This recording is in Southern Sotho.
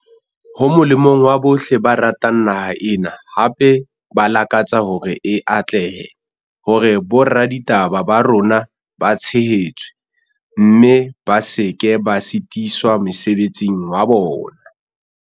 Ho molemong wa bohle ba ratang naha ena, hape ba lakatsa hore e atlehe, hore boraditaba ba rona ba tshehetswe, mme ba se ke ba sitiswa mosebetsing wa bona.